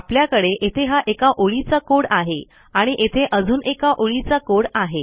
आपल्याकडे येथे हा एका ओळीचा कोड आहे आणि येथे अजून एका ओळीचा कोड आहे